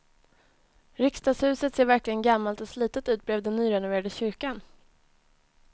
Riksdagshuset ser verkligen gammalt och slitet ut bredvid den nyrenoverade kyrkan.